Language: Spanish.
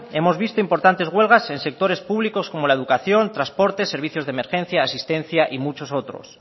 hemos visto importantes huelgas en sectores públicos como la educación transportes servicios de emergencia asistencia y muchos otros